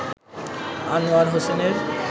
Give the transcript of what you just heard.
আনোয়ার হোসেনের